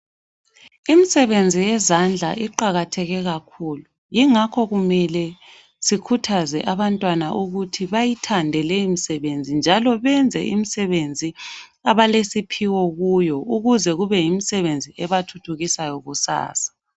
Imisebenzi yezandla iqakatheke kakhulu ingakho kumele sikhuthaze abantwana ukuthi bayithande lemisebenzi njalo benze imsebenzi abalesiphiwo kuyo ukuze kube yimisebenzi ebathuthukisayo kusasa.